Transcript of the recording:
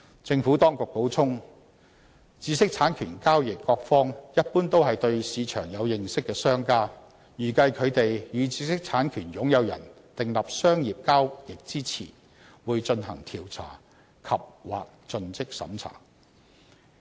政府當局補充，知識產權交易各方一般都是對市場有所認識的商家，預計他們與知識產權擁有人訂立商業交易前，會進行調查及/或盡職審查。